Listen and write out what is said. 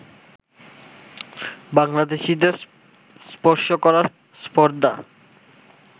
বাংলাদেশিদের স্পর্শ করার স্পর্ধা